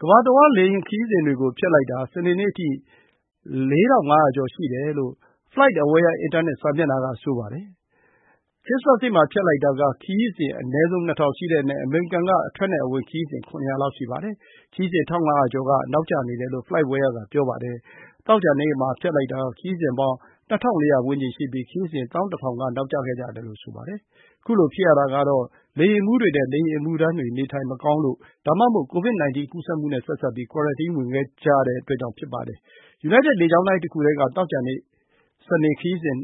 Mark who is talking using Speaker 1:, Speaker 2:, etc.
Speaker 1: ကမ္ဘာတဝန်း လေယာဉ်ခရီးစဉ်တွေကို ဖျက်လိုက်တာ စနေနေ့အထိ ၄,၅၀၀ ကျော် ရှိတယ်လို့ Flightaware အင်တာနက်စာမျက်နှာက ဆိုပါတယ်။ ခရစ္စမတ်နေ့မှာ ဖျက်လိုက်တာက ခရီးစဉ် အနည်းဆုံး ၂,၀၀၀ ရှိတဲ့အနက် အမေရိကန်က အထွက်နဲ့ အဝင် ခရီးစဉ် ၇၀၀ လောက် ရှိပါတယ်။ ခရီးစဉ် ၁,၅၀၀ ကျော်က နောက်ကျနေကြတယ်လို့ Flightaware က ပြောပါတယ်။ သောကြာနေ့မှာ ဖျက်လိုက်တာက ခရီးစဉ်ပေါင်း ၂,၄၀၀ ဝန်းကျင်ရှိပြီး ခရီးစဉ် ၁၁,၀၀၀ က နောက်ကျခဲ့ကြတယ်လို့ ဆိုပါတယ်။ ခုလိုဖြစ်ရတာကတော့ လေယာဉ်မှူးတွေနဲ့ လေယာဉ်အမှုထမ်းတွေ နေထိုင်မကောင်းလို့ ဒါမှမဟုတ် COVID-19 ကူးစက်မှုနဲ့ ဆက်စပ်ပြီး ကွာရန်တင်း ဝင်ကြရတဲ့အတွက်ကြောင့် ဖြစ်ကြပါတယ်။ United လေကြောင်းလိုင်း တခုတည်းက သောကြာ၊ စနေ ခရီးစဉ်